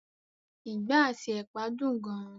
ìgbá àti ẹ̀pà dùn gan.